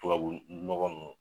Tubabu nɔgɔn nunnu